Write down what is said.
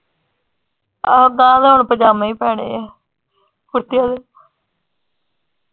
ਆਹੋ ਗਾ ਹੁਣ ਪਜਾਮੇ ਹੀ ਪੈਣੇ ਆ .